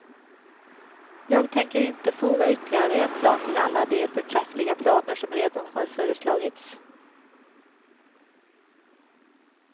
Jag tänker inte foga ytterligare en plan till alla de för träffliga planer som redan har föreslagits.